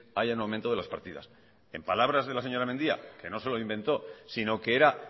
haya un aumento de las partidas en palabras de la señora mendia que no se lo inventó sino que era